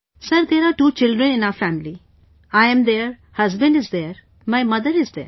Sir, there are two children in our family, I'm there, husband is there; my mother is there